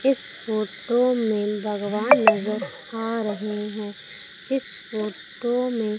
इस फोटो में भगवान नजर आ रहे हैं इस फोटो में--